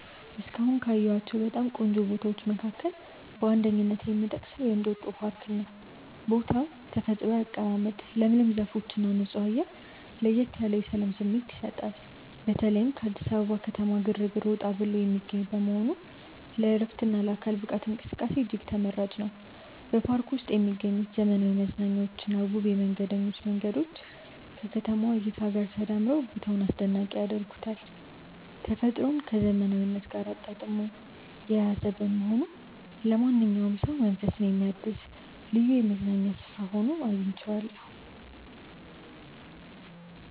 እስካሁን ካየኋቸው በጣም ቆንጆ ቦታዎች መካከል በአንደኝነት የምጠቀሰው የእንጦጦ ፓርክን ነው። የቦታው ተፈጥሯዊ አቀማመጥ፣ ለምለም ዛፎችና ንጹህ አየር ለየት ያለ የሰላም ስሜት ይሰጣል። በተለይም ከአዲስ አበባ ከተማ ግርግር ወጣ ብሎ የሚገኝ በመሆኑ ለዕረፍትና ለአካል ብቃት እንቅስቃሴ እጅግ ተመራጭ ነው። በፓርኩ ውስጥ የሚገኙት ዘመናዊ መዝናኛዎችና ውብ የመንገደኞች መንገዶች ከከተማዋ እይታ ጋር ተዳምረው ቦታውን አስደናቂ ያደርጉታል። ተፈጥሮን ከዘመናዊነት ጋር አጣጥሞ የያዘ በመሆኑ ለማንኛውም ሰው መንፈስን የሚያድስ ልዩ የመዝናኛ ስፍራ ሆኖ አግኝቼዋለሁ።